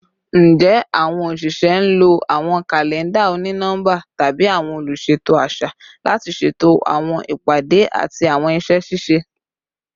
Njẹ awọn oṣiṣẹ nlo awọn kalẹnda oni-nọmba tabi awọn oluṣeto aṣa lati ṣeto awọn ipade ati awọn iṣẹ ṣiṣe?